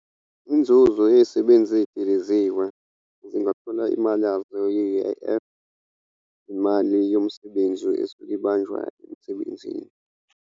Inzuzo yezisebenzi ezidiliziwe zingafuna imali yazo ye-U_I_F, imali yomsebenzi esuke ibanjwa emsebenzini.